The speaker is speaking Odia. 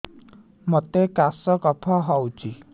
ମୋତେ କାଶ କଫ ହଉଚି